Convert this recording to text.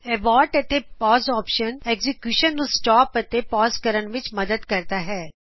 abort ਅਤੇ pause option execution ਨੂੰ stop ਅਤੇ ਪਾਜ਼ ਕਰਨ ਵਿੱਚ ਮਦਦ ਕਰਦਾ ਹੈ